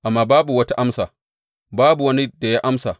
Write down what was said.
Amma babu wata amsa, babu wani da ya amsa.